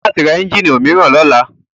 O ní láti ra ẹ́njíìnì òmíràn lọ́la.